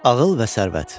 Ağıl və sərvət.